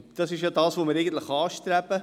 Das ist es, was wir eigentlich anstreben.